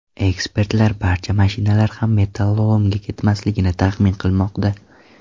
Ekspertlar barcha mashinalar ham metallolomga ketmasligini taxmin qilmoqda.